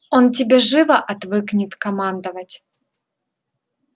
он тебе живо отвыкнет командовать